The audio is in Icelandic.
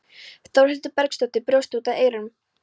Þórhildur Bergsdóttir brosti út að eyrum.